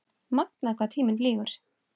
Magnað hvað tíminn flýgur?